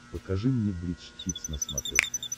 покажи мне бридж хитс на смотрешке